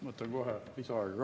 Ma võtan kohe lisaaega ka.